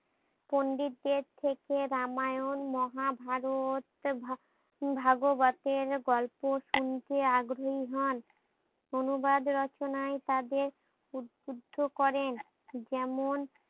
পন্ডিতদের থেকে রামায়ণ মহাভারত ভা ভাগবতের গল্প শুনতে আগ্রহী হন। অনুবাদ রচনায় তাদের উদ্ভুদ্দ করেন যেমন